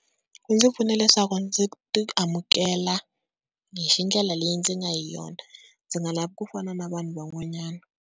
Wu ndzi pfuna leswaku ndzi ti amukela hi ndlela leyi ndzi nga hi yona ndzi nga lavi ku fana na vanhu van'wanyana.